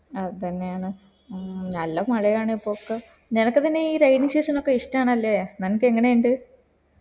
അതന്നെയാണ് മ് നല്ല മഴയാണ് ഇപ്പോക്ക് നിനക് നിന്നെ ഈ rain season ഒക്കെ ഇഷ്ട അല്ലേ നിനക് എങ്ങനെ ഇണ്ട്